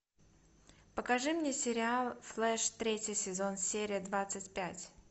покажи мне сериал флэш третий сезон серия двадцать пять